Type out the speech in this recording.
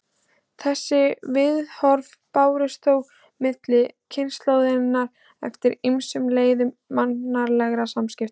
Þessi viðhorf bárust þó milli kynslóðanna eftir ýmsum leiðum mannlegra samskipta.